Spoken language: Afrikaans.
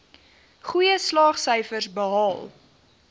goeie slaagsyfers behaal